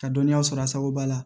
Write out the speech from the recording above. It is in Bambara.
Ka dɔnniya sɔrɔ a sababuba la